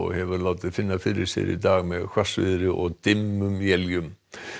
hefur látið finna fyrir sér í dag með hvassviðri og dimmum éljum